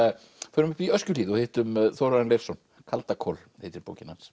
förum upp í Öskjuhlíð og hittum Þórarin Leifsson kaldakol heitir bókin hans